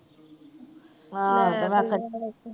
ਹਾ